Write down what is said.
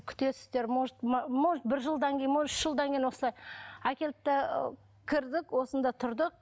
күтесіздер может может бір жылдан кейін может үш жылдан кейін осылай әкелді де ы кірдік осында тұрдық